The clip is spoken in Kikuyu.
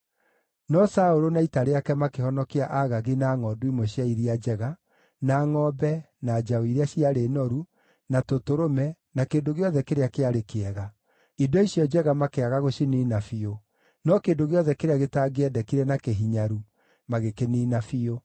No Saũlũ na ita rĩake makĩhonokia Agagi na ngʼondu imwe cia iria njega, na ngʼombe, na njaũ iria ciarĩ noru, na tũtũrũme, na kĩndũ gĩothe kĩrĩa kĩarĩ kĩega. Indo icio njega makĩaga gũciniina biũ, no kĩndũ gĩothe kĩrĩa gĩtangĩendekire na kĩhinyaru magĩkĩniina biũ.